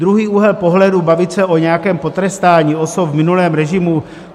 Druhý úhel pohledu - bavit se o nějakém potrestání osob v minulém režimu...